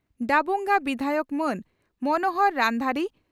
ᱰᱟᱵᱩᱜᱟᱝ ᱵᱤᱫᱷᱟᱭᱚᱠ ᱢᱟᱹᱱ ᱢᱚᱱᱦᱚᱨ ᱨᱟᱱᱫᱷᱟᱨᱤ